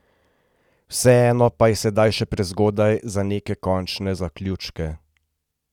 Vseeno pa je sedaj še prezgodaj za neke končne zaključke.